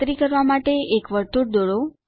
ખાતરી કરવા માટે એક વર્તુળ દોરો